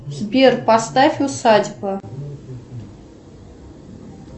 сбер поставь усадьба